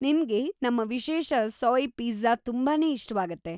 ನಿಮ್ಗೆ ನಮ್ಮ ವಿಶೇಷ ಸೋಯ್‌ ಪಿಜ್ಝಾ ತುಂಬಾನೇ ಇಷ್ಟವಾಗತ್ತೆ.